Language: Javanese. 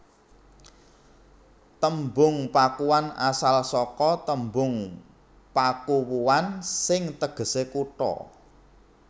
Tembung Pakuan asal saka tembung Pakuwuan sing tegesé kutha